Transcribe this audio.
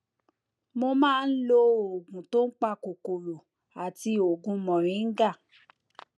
mo máa ń lo oògùn tó ń pa kòkòrò àti oògùn moringa